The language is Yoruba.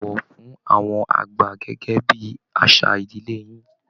Bọ̀wọ̀ fún àwọn àgbà gẹ́gẹ́ bí àṣà ìdílé yín